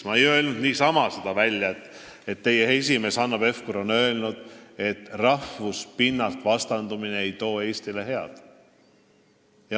Ma ei öelnud niisama seda, et teie esimees Hanno Pevkur on öelnud, et rahvuste pinnalt vastandumine ei too Eestile head.